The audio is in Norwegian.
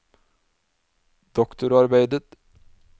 doktorarbeidet